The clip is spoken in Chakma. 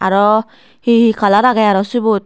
aro he he color agey aro sibot.